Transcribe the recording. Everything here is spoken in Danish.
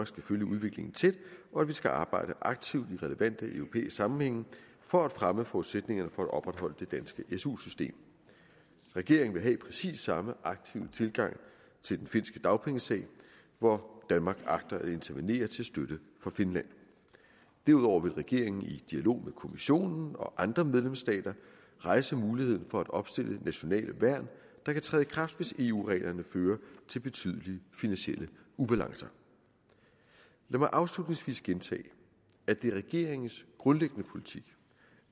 skal følge udviklingen tæt og at vi skal arbejde aktivt i relevante europæiske sammenhænge for at fremme forudsætningerne for at opretholde det danske su system regeringen vil have præcis samme aktive tilgang til den finske dagpengesag hvor danmark agter at intervenere til støtte for finland derudover vil regeringen i dialog med kommissionen og andre medlemsstater rejse muligheden for at opstille nationale værn der kan træde i kraft hvis eu reglerne fører til betydelige finansielle ubalancer lad mig afslutningsvis gentage at det er regeringens grundlæggende politik